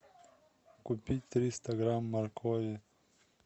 купить триста грамм моркови